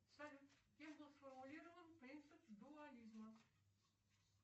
салют кем был сформулирован принцип дуализма